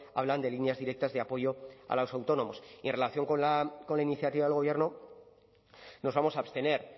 hablan de líneas directas de apoyo a los autónomos y en relación con la iniciativa del gobierno nos vamos a abstener